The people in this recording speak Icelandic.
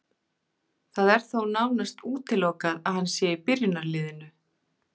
Það er þó nánast útilokað að hann sé í byrjunarliðinu.